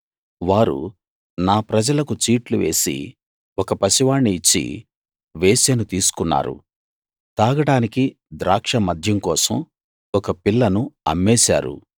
వారు నా ప్రజలకు చీట్లు వేసి ఒక పసివాణ్ణి ఇచ్చి వేశ్యను తీసుకున్నారు తాగడానికి ద్రాక్ష మద్యం కోసం ఒక పిల్లను అమ్మేశారు